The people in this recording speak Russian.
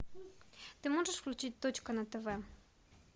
ты можешь включить точка на тв